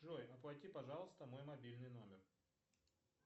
джой оплати пожалуйста мой мобильный номер